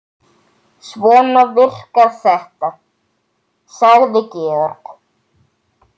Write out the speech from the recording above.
Svona virkar þetta, sagði Georg.